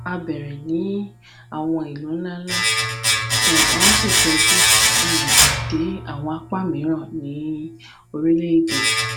a bẹrẹ ni awọn ilu nlanla um a o si fẹju um de awọn apa miiran ni orilẹede